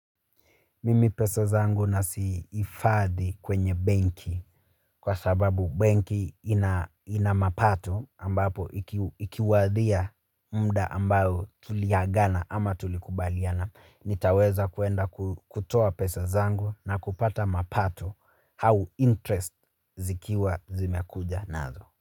Mimi pesa zangu nazi hifadhi kwenye benki, kwa sababu benki ina mapato, ambapo ikiwadia muda ambao tuliagana ama tulikubaliana. Nitaweza kwenda kutoa pesa zangu na kupata mapato au "interest", zikiwa zimekuja nazo.